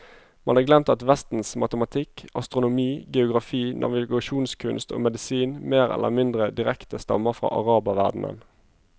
Man har glemt at vestens matematikk, astronomi, geografi, navigasjonskunst og medisin mer eller mindre direkte stammer fra araberverdenen.